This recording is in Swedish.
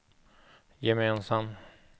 gemensam